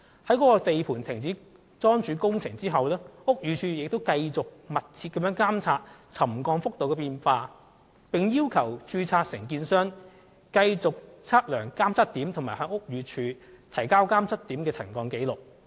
該地盤停止樁柱工程後，屋宇署仍繼續密切監察沉降幅度的變化，並要求註冊承建商繼續測量監測點，以及向屋宇署提交監測點的沉降紀錄。